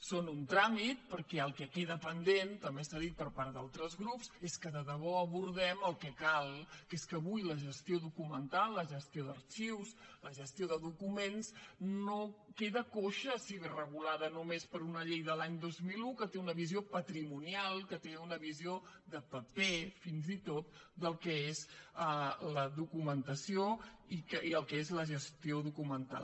són un tràmit perquè el que queda pendent també s’ha dit per part d’altres grups és que de debò abordem el que cal que és que avui la gestió documental la gestió d’arxius la gestió de documents queda coixa si ve regulada només per una llei de l’any dos mil un que té una visió patrimonial que té una visió de paper fins i tot del que és la documentació i el que és la gestió documental